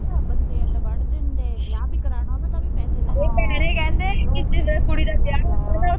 ਬੰਦੇ ਏਦਾ ਵੱਢ ਦਿੰਦੇ ਵਿਆਹ ਈ ਕਰਾਨਾ ਹੋਏ ਤਾਂ ਵੀ ਪੈਸੈ ਲੈਂਦੇ